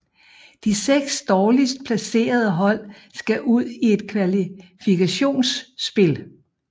De seks dårligst placerede hold skal ud i et kvalifikationsspil